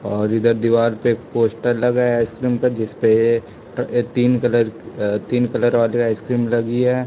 और इधर दीवार पे एक पोस्टर लगाया आइसक्रीम का जिस पे त अ तीन कलर अ तीन कलर वाली आइसक्रीम लगी है।